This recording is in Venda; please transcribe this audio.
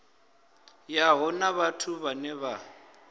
yavho na vhathu vhane vha